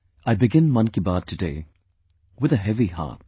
I begin 'Mann Ki Baat' today with a heavy heart